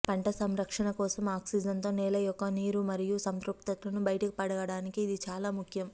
పంట సంరక్షణ కోసం ఆక్సిజన్తో నేల యొక్క నీరు మరియు సంతృప్తతను బయట పడటానికి ఇది చాలా ముఖ్యం